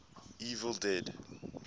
evil dead